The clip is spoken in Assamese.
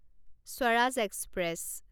স্বৰাজ এক্সপ্ৰেছ